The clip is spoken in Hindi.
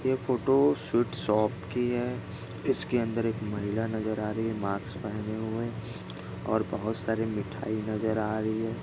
यह फोटो स्वीट शॉप की है इसके अंदर एक महिला नजर हा रही है मास्क पहिने हुए और बहुत सारी मिठाई नजर हा रही है।